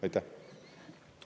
Aitäh!